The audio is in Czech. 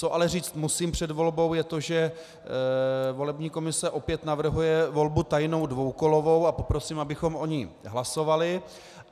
Co ale říct musím před volbou, je to, že volební komise opět navrhuje volbu tajnou dvoukolovou, a poprosím, abychom o ní hlasovali.